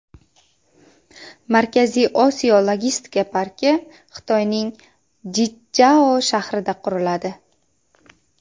Markaziy Osiyo logistika parki Xitoyning Jichjao shahrida quriladi.